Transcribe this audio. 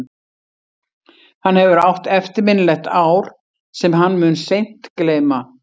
Hann hefur átt eftirminnilegt ár sem hann mun seint gleyma.